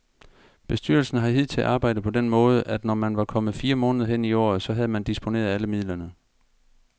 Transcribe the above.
Bestyrelsen har hidtil arbejdet på den måde, at når man var kommet fire måneder hen i året, så havde man disponeret alle midlerne.